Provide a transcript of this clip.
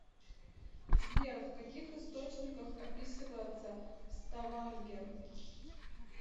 сбер в каких источниках описывается ставангер